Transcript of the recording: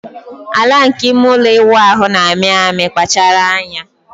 Ala nke ime ụlọ ịwụ ahụ na-amị amị, kpachara anya.